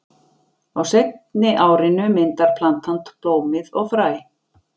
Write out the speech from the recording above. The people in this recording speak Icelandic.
Á seinni árinu myndar plantan blómið og fræ.